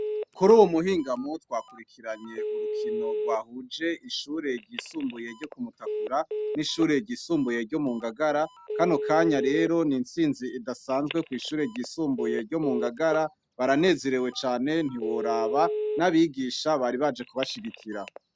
Kur'uyu mu hingamo, twakurikiranye urukino rwahuje ishure ry'isumbuye ryo ku Mutakura, n'ishure ry'isumbuye ryo mu Ngagara, Kano kanya rero n'itsinzi idasanzwe kw'ishure ryisumbuye ryo mu Ngagara, baranezerewe cane ntiworaba n'abigisha bari baje kubashigikira.